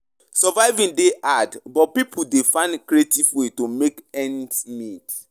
Surviving dey hard, but pipo dey find creative ways to make ends meet.